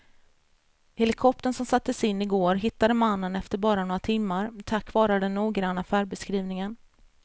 Helikoptern som sattes in i går hittade mannen efter bara några timmar tack vare den noggranna färdbeskrivningen.